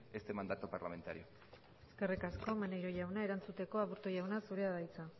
este mandato parlamentario eskerrik asko maneiro jauna erantzuteko aburto jauna zurea da hitza